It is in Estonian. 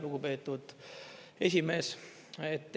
Lugupeetud esimees!